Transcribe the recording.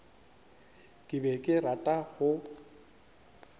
ke be ke rata go